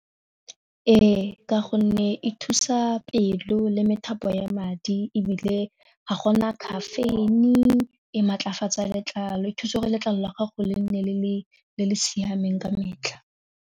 Ee, ka gonne e thusa pelo le methapo ya madi ebile ga gona caffeine, e maatlafatsa letlalo e thuse gore letlalo la gago le nne le le siameng ka metlha.